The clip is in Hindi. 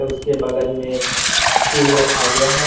उसके बगल में सेब रखा गया है।